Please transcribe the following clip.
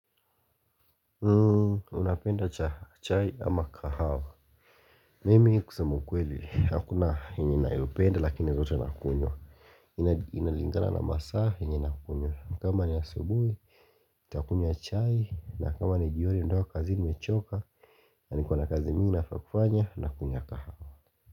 Unapenda cha chai ama kahawa Mimi kusema ukweli hakuna yenye nayopenda lakini zote nakunywa Inalingana na masaa yenye nakunywa kama ni asubui ntakunywa chai na kama ni jioni nimetoka kazini nimechoka Naniko na kazi muhimu nafaa kufanya nakunywa kahawa.